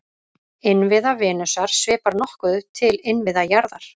Innviða Venusar svipar nokkuð til innviða jarðar.